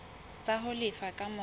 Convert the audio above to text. tsa ho lefa ka mora